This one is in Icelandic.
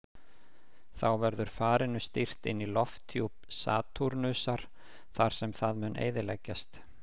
Þá verður farinu stýrt inn í lofthjúp Satúrnusar þar sem það mun eyðileggjast.